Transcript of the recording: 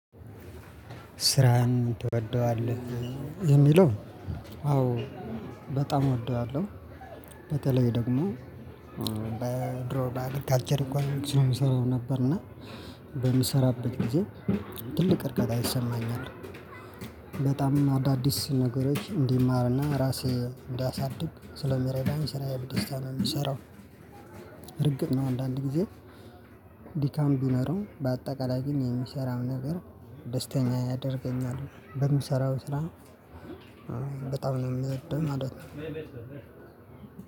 ስራህን ትወደዋለህ የሚለው? አዎ በጣም እወደዋለሁ። በተለይ ደግሞ በድሮ አግሪካልቸር ኢኮኖሚክስ ነው ምሰራው ነበርና በምሰራበት ጊዜ ትልቅ እርጋታ ይሰማኛል። በጣም አዳዲስ ነገሮች እንድማርና ራሴ እንዳሳድግ ስለሚረዳኝ ስራዬን በደስታ ነው የምሰራው። እርግጥ ነው አንዳንድ ጊዜ ድካም ቢኖረው በአጠቃላይ ግን የሚሰራው ነገር ደስተኛ ያደርገኛል። በምሰራው ስራ በጣም ነው የምውደው ማለት ነው።